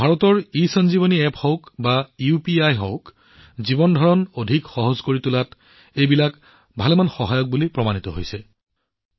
ভাৰতৰ ইসঞ্জীৱনী এপ্প হওক বা ইউপিআই হওক এইবোৰ জীৱনৰ সহজতা বৃদ্ধিত যথেষ্ট সহায়ক বুলি প্ৰমাণিত হৈছে